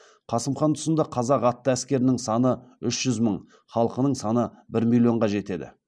қасым хан тұсында қазақ атты әскерінің саны үш жүз мың халқының саны бір миллионға жетеді